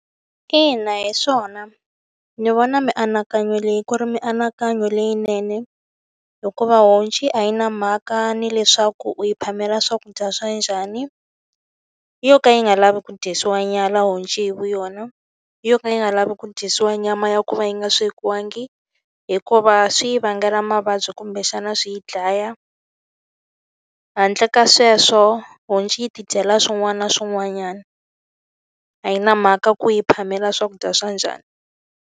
Ina hi swona ni vona mianakanyo leyi ku ri mianakanyo leyinene. Hikuva honci a yi na mhaka ni leswaku u yi phamela swakudya swa njhani, u yo ka yi nga lavi ku dyisiwa nyala honci vu yona. Yo ka yi nga lavi ku dyisiwa nyama ya ku va yi nga swekiwangi, hikuva swi vangela mavabyi kumbexana yi dlaya. Handle ka sweswo honci yi ti dyela swin'wana na swin'wanyana. A yi na mhaka ku u yi phamela swakudya swa njhani.